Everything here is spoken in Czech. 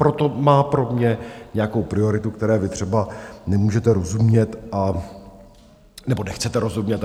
Proto má pro mě nějakou prioritu, které vy třeba nemůžete rozumět, nebo nechcete rozumět.